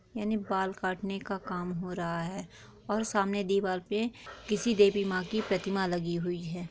यानि बाल काटने का काम हो रहा है और सामने दीवार पे किसी देवी माँ की प्रतिमा लगी हुई है